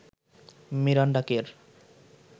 Miranda কের